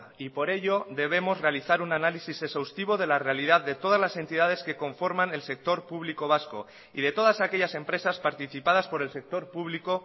y por ello debemos realizar un análisis exhaustivo de la realidad de todas las entidades que conforman el sector público vasco y de todas aquellas empresas participadas por el sector público